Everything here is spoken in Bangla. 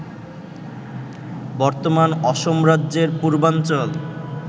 বর্তমান অসম রাজ্যের পূর্বাঞ্চল